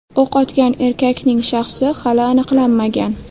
O‘q otgan erkakning shaxsi hali aniqlanmagan.